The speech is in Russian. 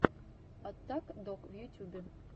аттак дог в ютюбе